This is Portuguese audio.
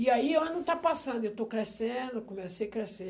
E aí o ano está passando, eu estou crescendo, comecei a crescer.